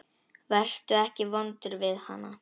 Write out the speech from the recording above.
Vertu ekki vondur við hana.